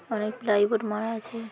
অনেক ply board মারা আছে।